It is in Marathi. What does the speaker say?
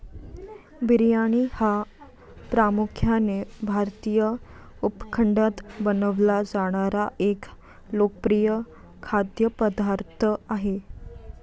बिर्याणी हा प्रामुख्याने भारतीय उपखंडात बनवला जाणारा एक लोकप्रिय खाद्यपदार्थ आहे.